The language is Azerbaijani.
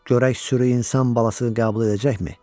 Görək sürü insan balasını qəbul edəcəkmi?